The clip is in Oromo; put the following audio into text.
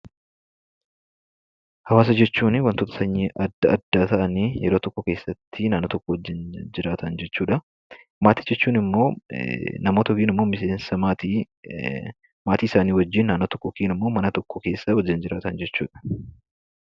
Hawaasa jechuun wantoota sanyii adda addaa ta'anii yeroo tokko keessatti naannoo tokko wajjin jiraatan jechuudha. Maatii jechuun ammoo namoota yookaan ammoo maatii isaanii wajjin naannoo tokko yookaan mana tokko keessa jiraatan jechuudha.